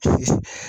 Ayi